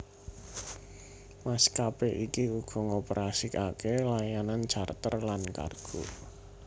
Maskapé iki uga ngoperasikake layanan charter lan kargo